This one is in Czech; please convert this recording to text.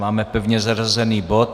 Máme pevně zařazený bod.